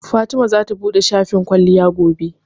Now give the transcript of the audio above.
Fatima zata buɗe shafin kwalliya gobe.